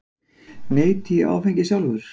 Neyti ég sjálfur áfengis?